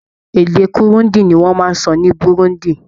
Èdè Kirundi Ni wọ́n ń sọ ní Burundi.